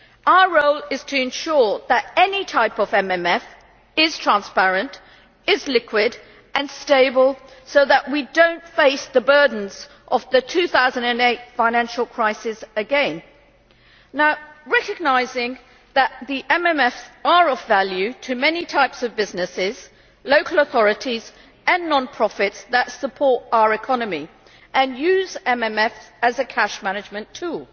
Our role is to ensure that any type of MMF is transparent, liquid and stable so that we do not face the burdens of the 2008 financial crisis again, while recognising that MFFs are of value to many types of businesses, local authorities and non profits that support our economy and use MFFs as a cash management tool.